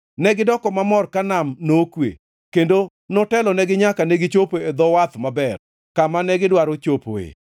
Negidoko mamor ka nam nokwe, kendo notelonegi nyaka negichopo e dho wath maber, kama negidwaro chopoe.